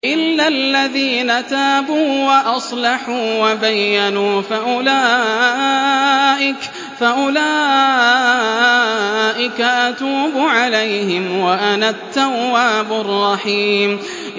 إِلَّا الَّذِينَ تَابُوا وَأَصْلَحُوا وَبَيَّنُوا فَأُولَٰئِكَ أَتُوبُ عَلَيْهِمْ ۚ وَأَنَا التَّوَّابُ الرَّحِيمُ